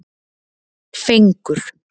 Fengur